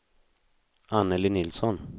Annelie Nilsson